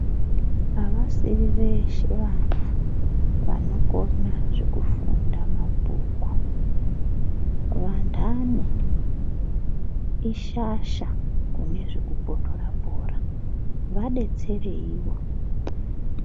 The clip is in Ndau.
Avasi veshe vana vanokona zvekufunda mabhuku vanhani ishasha kune zvekupunhura bhora vadetsereiwo.